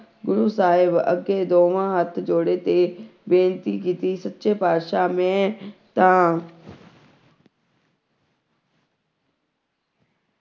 ਗੁਰੂ ਸਾਹਿਬ ਅੱਗੇ ਦੋਵਾਂ ਹੱਥ ਜੋੜੇ ਤੇ ਬੇਨਤੀ ਕੀਤੀ ਸੱਚੇ ਪਾਤਿਸ਼ਾਹ ਮੈਂ ਤਾਂ